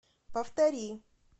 повтори